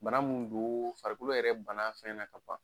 Bana mun doo farikolo yɛrɛ bann'a fɛn na ka ban.